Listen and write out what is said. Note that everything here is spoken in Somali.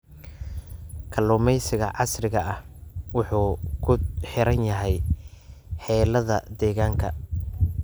Kalluumeysiga casriga ah wuxuu ku xiran yahay xaaladaha deegaanka.